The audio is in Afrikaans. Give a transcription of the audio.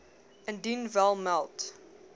indien wel meld